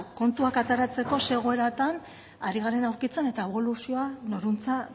kontuak ateratzeko ze egoeratan ari garen aritzen eta eboluzioa norantza